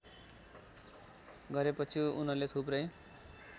गरेपछि उनले थुप्रै